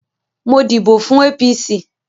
Mo díbò fún APC